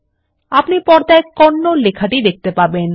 আপনি পর্দায় কন্নড লেখাটি দেখতে পাবেন